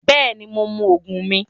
Bẹẹni, Mo ń mú òògùn mì